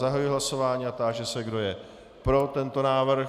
Zahajuji hlasování a táži se, kdo je pro tento návrh.